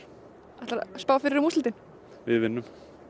ætlarðu að spá fyrir um úrslitin við vinnum